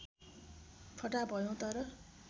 फटाहा भयौ तर